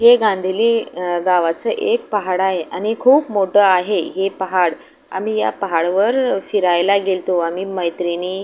हे गांधेली अ गावाचं एक पहाड आहेआणि खूप मोठ आहे हे पहाड आम्ही या पहाड वर फिरायला गेलतो आम्ही मैत्रिणी--